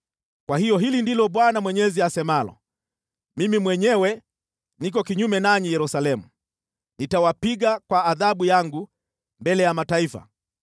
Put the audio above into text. “Kwa hiyo, hili ndilo Bwana Mwenyezi asemalo, Mimi mwenyewe, niko kinyume nanyi Yerusalemu, nitawapiga kwa adhabu yangu mbele ya mataifa.